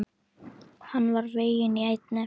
Hann var veginn í eynni.